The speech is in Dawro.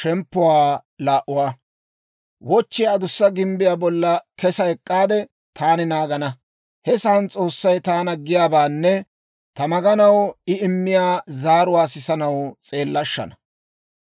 Wochchiyaa adussa gimbbiyaa bolla kesa ek'k'aade taani naagana. He sa'aan S'oossay taana giyaabaanne ta maganaw I immiyaa zaaruwaa sisanaw s'eellashshana.